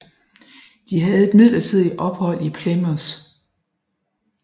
De havde et midlertidigt ophold i Plymouth